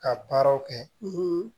Ka baaraw kɛ